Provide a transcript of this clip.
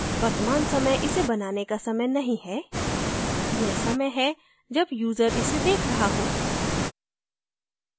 वर्तमान समय इसे बनाने का समय नहीं है यह समय है जब यूजर इसे देख रहा हो